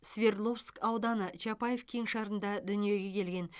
свердловск ауданы чапаев кеңшарында дүниеге келген